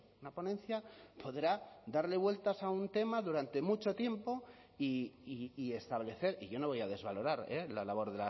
una ponencia podrá darle vueltas a un tema durante mucho tiempo y establecer y yo no voy a desvalorar la labor